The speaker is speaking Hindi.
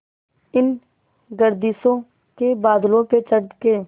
इन गर्दिशों के बादलों पे चढ़ के